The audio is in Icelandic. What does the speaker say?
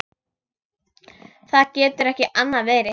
Það getur ekki annað verið.